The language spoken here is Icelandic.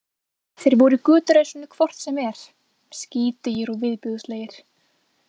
Þeir voru í göturæsinu hvort sem er, skítugir og viðbjóðslegir.